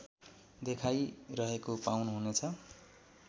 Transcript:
देखाइरहेको पाउनुहुनेछ